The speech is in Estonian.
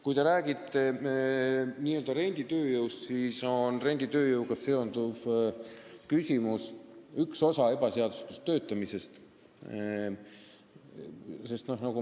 Kui te räägite n-ö renditööjõust, siis sellega seondub ebaseadusliku töötamise küsimus.